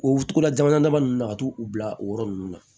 O tugula jamana dama nunnu na ka t'u bila o yɔrɔ nunnu na